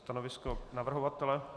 Stanovisko navrhovatele?